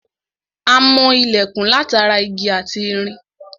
A mọ ilẹ̀kùn látara igi ati irin